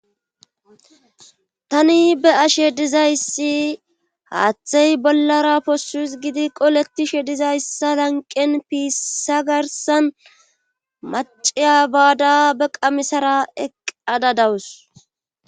tani be ashe dizayssi haaththey bollara poshu gidi qoletishe dizayssa lanqen piissa garsan maciya baada be qamisara eqqada dawus